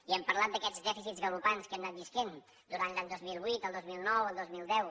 i hem parlat d’aquests dèficits galopants en què hem anant vivint durant l’any dos mil vuit el dos mil nou el dos mil deu